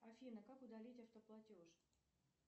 афина как удалить автоплатеж